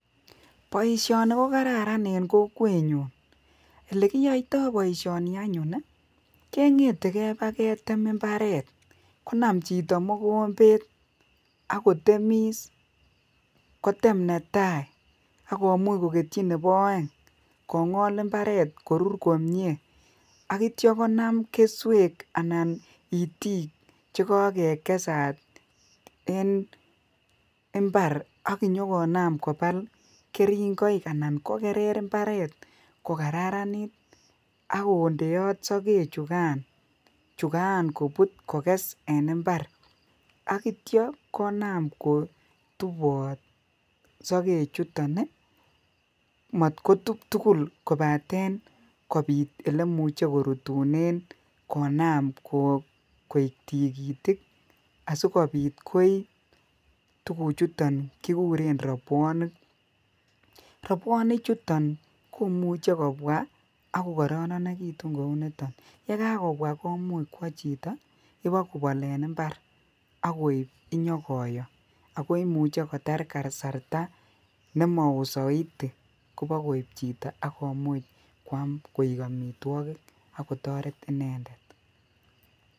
boisyooni kogararan en kokweet nyuun, olegiyoitoo boisyooni anyuun iih kengete keeba ketem mbareet konam chito mogombeet agotemiss, koteem netai agomuuch kogetyii nebo ooeng kongool imbareet korurr komyee oityoo konam kesweek anan iitik chegogegesaat en imbaar ak nyogonaam kobaal keringoik anan kogerer imbareet kogararaniit ak kondeoot sogek chugan kobuut koges en imbaar ogityoo konaam kotuboot sogeek chuton iih maat kotuub tugul kobaten kobiit yemuche korutunen konaam koeek tigitik asigobiit koii tuguk chuton kigureen robwonik, roboniik chuton komuche kobwaa agokororegitun kouu niton, ye gaakobwaa komuuch kwoo chito bogobool en imbaar bogoib nyagoyoo ago imuche kotaar kasarta nemaoo soiiti kobogoib chito kwaam koek omitwogik ak kotoret inendet.